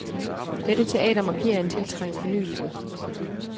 Dette teater markerer en tiltrængt fornyelse.